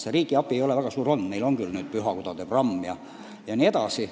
Riigi abi ei ole väga suur olnud, kuigi meil on nüüd pühakodade programm jne.